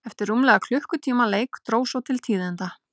Eftir rúmlega klukkutíma leik dró svo til tíðinda.